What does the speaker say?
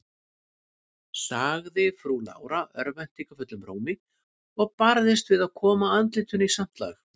sagði frú Lára örvæntingarfullum rómi, og barðist við að koma andlitinu í samt lag.